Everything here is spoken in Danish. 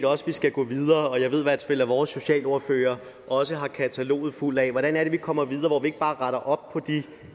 også vi skal gå videre og jeg ved i hvert fald at vores socialordfører også har kataloget fuldt af ideer til hvordan vi kommer videre og ikke bare retter op på de